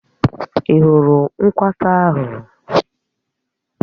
Ị́ hụrụ nkwata ahụ?